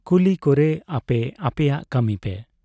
ᱠᱩᱞᱤ ᱠᱚᱨᱮ ᱟᱯᱮ ᱟᱯᱮᱭᱟᱜ ᱠᱟᱢᱤ ᱯᱮ ᱾